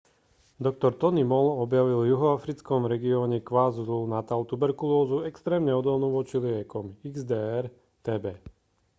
doktor tony moll objavil v juhoafrickom regióne kwazulu-natal tuberkulózu extrémne odolnú voči liekom xdr-tb